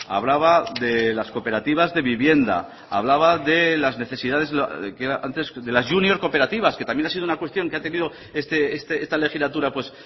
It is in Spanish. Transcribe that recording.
hablaba de las cooperativas de vivienda hablaba de las necesidades que antes de las junior cooperativas que también ha sido una cuestión que ha tenido esta legislatura pues